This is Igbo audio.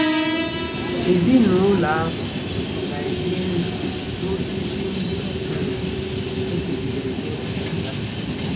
Ezinụlọ ahụ na-enye nri n'osisi ndị um e kegidere n'osisi ha.